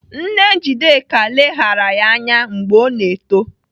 Nne Njideka leghara ya anya mgbe ọ na-eto.